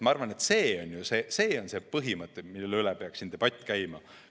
Ma arvan, et see on see põhimõte, mille üle peaks debatt käima.